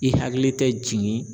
I hakili tɛ jigin